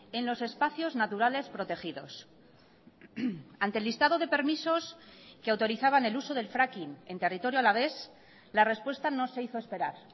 en los espacios naturales protegidos ante el listado de permisos que autorizaban el uso del fracking en territorio alavés la respuesta no se hizo esperar